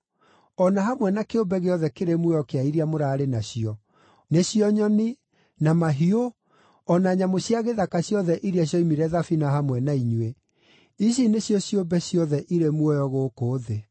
o na hamwe na kĩũmbe gĩothe kĩrĩ muoyo kĩa iria mũraarĩ nacio; nĩcio nyoni, na mahiũ o na nyamũ cia gĩthaka ciothe iria cioimire thabina hamwe na inyuĩ, ici nĩcio ciũmbe ciothe irĩ muoyo gũkũ thĩ.